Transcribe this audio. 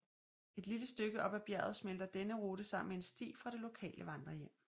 Et lille stykke oppe ad bjerget smelter denne rute sammen med en sti fra det lokale vandrehjem